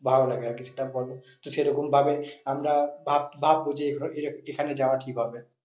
ভালো লাগে আর কিছুটা তো সে রকম ভাবে আমরা ভাববো যে এখানে যাওয়া ঠিক হবে।